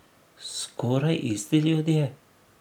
Skoraj isti ljudje.